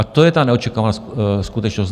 A to je ta neočekávaná skutečnost.